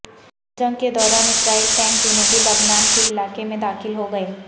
جنگ کے دوران اسرائیلی ٹینک جنوبی لبنان کے علاقے میں داخل ہوگئے